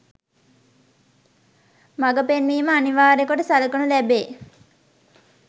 මඟ පෙන්වීම අනිවාර්ය කොට සලකනු ලැබේ.